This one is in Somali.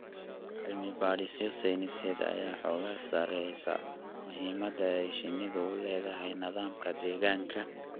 Cilmi-baadhisyo sayniseed ayaa xooga saaraysa muhiimada ay shinnidu u leedahay nidaamka deegaanka.